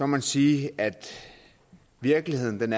man sige at virkeligheden